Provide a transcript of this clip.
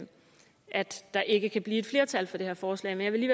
at der ikke kan blive et flertal for det her forslag men jeg vil